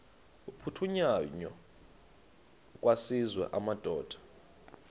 aphuthunywayo kwaziswe amadoda